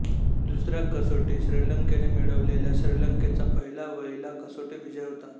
दुसऱ्या कसोटी श्रीलंकेने मिळवलेला श्रीलंकेचा पहिला वहिला कसोटी विजय होता